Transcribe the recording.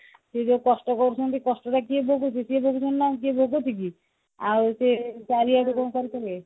ସେ ଯୋଉ କଷ୍ଟ କରୁଛନ୍ତି କଷ୍ଟ ଟା କିଏ ଭୋଗୁଛି ସିଏ ଭୋଗୁଛନ୍ତି ନା କିଏ ଭୋଗୁଛି କି ଆଉ ସେ ଚାରିଆଡେ କଣ କରୁଥିଲେ